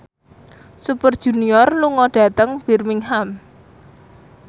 Super Junior lunga dhateng Birmingham